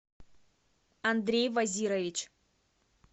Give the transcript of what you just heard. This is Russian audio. андрей вазирович